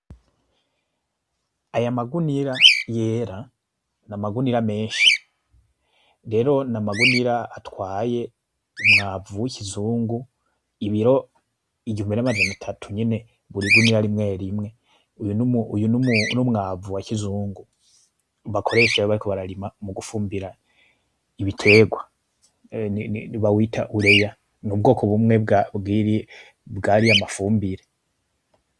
Aya magunira yera, n'amagunira menshi, rero n'amagunira atwaye umwavu w'ikizungu, ibiro igihumbi n'amajana atatu nyene buri igunira rimwe rimwe, uyu n'umwavu wa kizungu bakoresha iyo bariko bararima mugufumbira ibiterwa, bawita ureya n'ubwoko bumwe bwariya mafumbire.